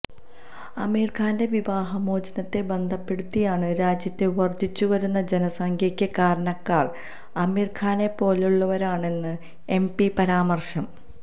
അമീര്ഖാന്റെ വിവാഹമോചനത്തെ ബന്ധപ്പെടുത്തിയാണ് രാജ്യത്തെ വര്ധിച്ചുവരുന്ന ജനസഖ്യയ്ക്ക് കാരണക്കാര് അമീര്ഖാനെപ്പോലുള്ളവരാണെന്ന് എം പിയുടെ പരാമര്ശം